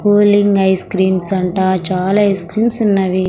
Cooling ice creams అంట చాలా ice creams ఉన్నవి.